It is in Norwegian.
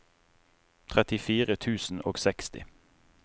trettifire tusen og seksti